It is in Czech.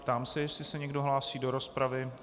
Ptám se, jestli se někdo hlásí do rozpravy.